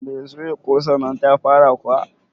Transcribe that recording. Mai soya kosannnan ta fara kuwa?